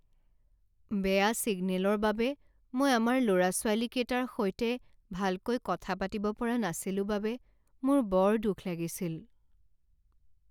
বেয়া ছিগনেলৰ বাবে মই আমাৰ ল'ৰা ছোৱালীকেইটাৰ সৈতে ভালকৈ কথা পাতিব পৰা নাছিলো বাবে মোৰ বৰ দুখ লাগিছিল।